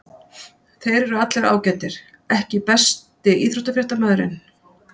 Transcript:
Þeir eru allir ágætir EKKI besti íþróttafréttamaðurinn?